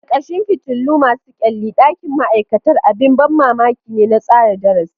Ƙarƙashin fitilu masu kyalli, ɗakin ma'aikata abin ban mamaki ne na tsara darasi.